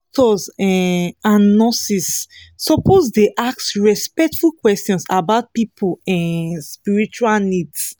doctors um and nurses suppose dey ask respectful questions about people um spiritual needs